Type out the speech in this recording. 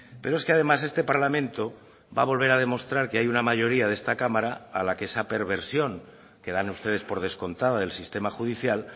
pero es que además este parlamento va a volver a demostrar que hay una mayoría de esta cámara a la que esa perversión que dan ustedes por descontada del sistema judicial